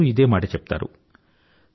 అందరూ ఇదే మాట చెప్తారు